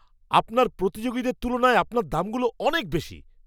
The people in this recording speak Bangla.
আপনার প্রতিযোগীদের তুলনায় আপনার দামগুলো অনেক বেশি।